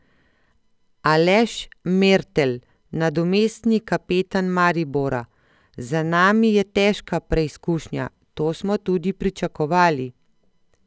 Aleš Mertelj, nadomestni kapetan Maribora: 'Za nami je težka preizkušnja, to smo tudi pričakovali.